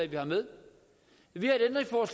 vi har med vi